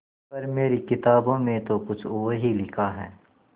पर मेरी किताबों में तो कुछ और ही लिखा है